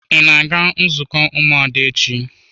Ị na-aga nzukọ ụmụada echi?